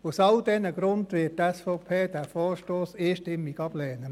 Aus all diesen Gründen wird die SVP diesen Vorstoss einstimmig ablehnen.